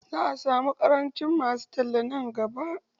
Za'a samu ƙarancin masu talla nan gaba.